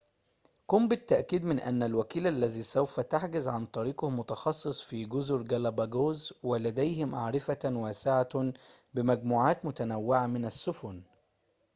قم بالتأكد من أن الوكيل الذي سوف تحجز عن طريقه متخصص في جزر جالاباجوس ولديه معرفةٌ واسعةٌ بمجموعاتٍ متنوعةٍ من السفن